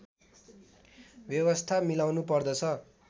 व्यवस्था मिलाउनुपर्दछ